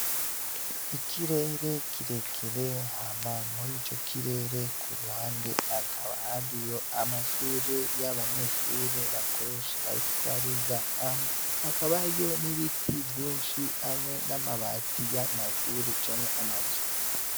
Ikirere kirekire, hama muri ico kirere ku ruhande hakaba hariyo amashure y'abanyeshure bakoresha bariko bariga hama hakaba hariyo n'ibiti vyinshi hamwe n'amabati yayo mashure canke amazu.